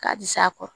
K'a di s'a kɔ